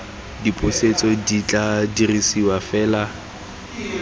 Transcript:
dipusetso di tla dirisiwa fela